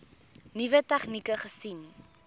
nuwe tegnieke gesien